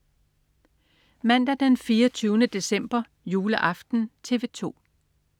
Mandag den 24. december. Juleaften - TV 2: